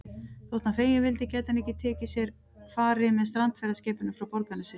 Þótt hann feginn vildi gæti hann ekki tekið sér fari með strandferðaskipinu frá Borgarnesi.